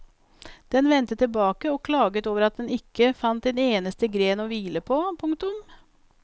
Den vendte tilbake og klaget over at den ikke fant en eneste gren å hvile på. punktum